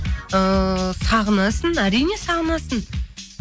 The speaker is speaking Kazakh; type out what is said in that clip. ыыы сағынасың әрине сағынасың